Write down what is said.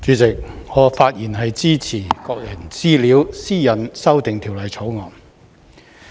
主席，我發言支持《2021年個人資料條例草案》。